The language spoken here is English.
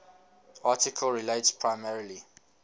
article relates primarily